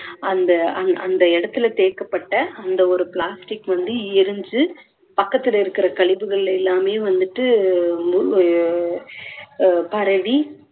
அந்த அ~ அந்த இடத்துல தேக்கப்பட்ட அந்த ஒரு plastic வந்து எரிஞ்சு பக்கத்துல இருக்குற கழிவுகளில எல்லாமே வந்துட்டு அ~ பரவி